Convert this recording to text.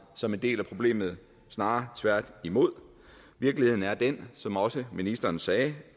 som en del af problemet snarere tværtimod virkeligheden er den som også ministeren sagde